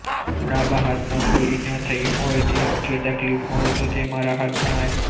ડાબા હાથમાં કોઈ ઈજા થઈ હોય કે તકલીફ હોય તો તેમાં રાહત જણાય